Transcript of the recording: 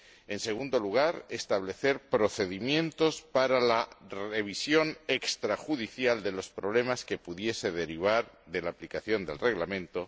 en segundo lugar, establecer procedimientos para la revisión extrajudicial de los problemas que pudiesen derivarse de la aplicación del Reglamento